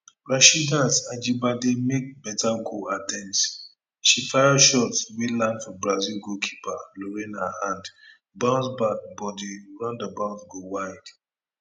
rasheedat ajibade make beta goal attempt she fire shot wey land for brazil goalkeeper lorena hand bounce back but di roundabout go wide